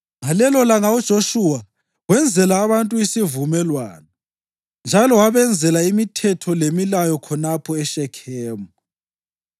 Ngalelolanga uJoshuwa wenzela abantu isivumelwano, njalo wabenzela imithetho lemilayo khonapho eShekhemu.